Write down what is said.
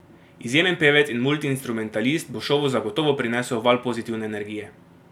Izjemen pevec in multiinstrumentalist bo šovu zagotovo prinesel val pozitivne energije.